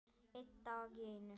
Einn dag í einu.